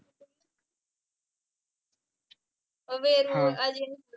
मग वेरूळ अजिंठा